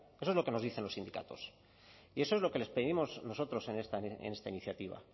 eso es lo que nos dicen los sindicatos y eso es lo que les pedimos nosotros en esta iniciativa